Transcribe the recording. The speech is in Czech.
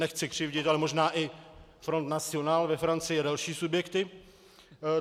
Nechci křivdit, ale možná i Front National ve Francii a další subjekty.